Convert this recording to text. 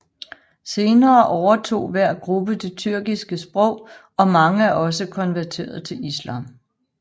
Senere overtog hver gruppe det tyrkiske sprog og mange er også konverteret til islam